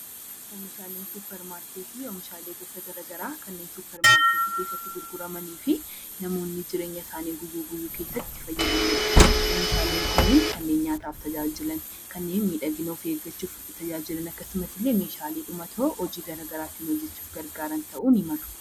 Suupparmaarkeetii jechuun oomishaaleewwan garaagaraa kanneen suupparmaarkeetii keessatti gurguramanii fi namoonni jireenya isaanii guyyaa guyyaa keessatti fayyadamanidha. Oomishaaleen kunniin kan nyaataaf tajaajilanidha. Kanneen miidhagina eeggachuuf nu tajaajilan akkasumallee meeshaalee dhumatoo hojii garaagaraa hojjachuuf nu fayyadan ta'uu danda'a